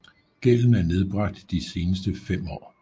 Gælden er nedbragt de seneste fem år